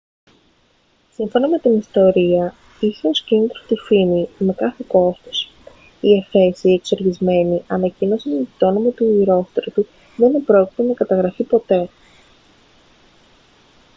σύμφωνα με την ιστορία είχε ως κίνητρο τη φήμη με κάθε κόστος οι εφέσιοι εξοργισμένοι ανακοίνωσαν ότι το όνομα του ηρόστρατου δεν επρόκειτο να καταγραφεί ποτέ